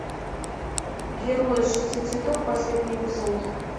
герои шести цветов последний эпизод